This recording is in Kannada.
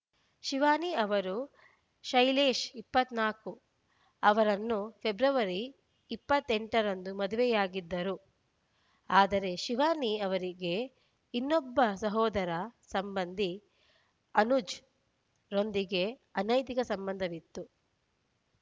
ಶಿವಾನಿ ಅವರು ಶೈಲೇಶ್ ಇಪ್ಪತ್ತ್ ನಾಲ್ಕು ಅವರನ್ನು ಫೆಬ್ರವರಿ ಇಪ್ಪತ್ತ್ ಎಂಟ ರಂದು ಮದುವೆಯಾಗಿದ್ದರು ಆದರೆ ಶಿವಾನಿ ಅವರಿಗೆ ಇನ್ನೊಬ್ಬ ಸಹೋದರ ಸಂಬಂಧಿ ಅನುಜ್‌ರೊಂದಿಗೆ ಅನೈತಿಕ ಸಂಬಂಧವಿತ್ತು